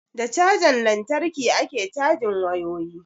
Da cajan lantarki ake cajin wayoyi